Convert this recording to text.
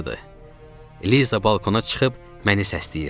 Liza balkona çıxıb məni səsləyirdi.